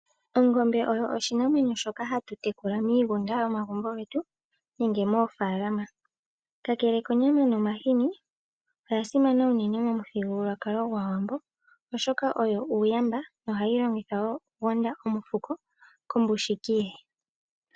Ongombe oyo oshinanwenyo shoka ha tu tekula miigunda yomagumbo getu nenge mofaalama . Kakele konyama nomahini oya simana unene momuthigululwakalo Gwaawambo oshoka oyo uuyamba nohayi longithwa wo okugonda omufuko kombushiki ye.